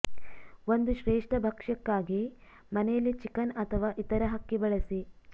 ಒಂದು ಶ್ರೇಷ್ಠ ಭಕ್ಷ್ಯಕ್ಕಾಗಿ ಮನೆಯಲ್ಲಿ ಚಿಕನ್ ಅಥವಾ ಇತರ ಹಕ್ಕಿ ಬಳಸಿ